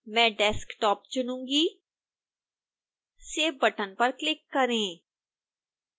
मैं desktop चुनूँगी save button पर क्लिक करें